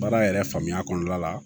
Baara yɛrɛ faamuya kɔnɔna la